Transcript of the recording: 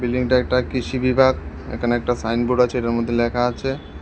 একটা কৃষি বিভাগ এখানে একটা সাইনবোর্ড আছে এটার মধ্যে লেখা আছে।